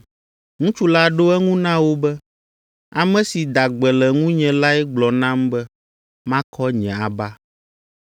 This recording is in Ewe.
Ŋutsu la ɖo eŋu na wo be, “Ame si da gbe le ŋunye lae gblɔ nam be makɔ nye aba.”